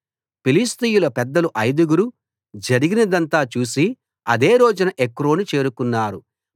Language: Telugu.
ఫిలిష్తీయుల పెద్దలు ఐదుగురు జరిగినదంతా చూసి అదే రోజున ఎక్రోను చేరుకున్నారు